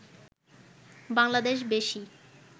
বাংলাদেশ বেশি